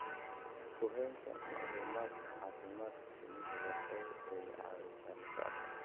Ku haynta macluumaadka caafimaadka shinnidu waxa ay caawisaa la socodka.